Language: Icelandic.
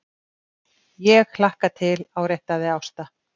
ÉG hlakka til, áréttaði Ásta.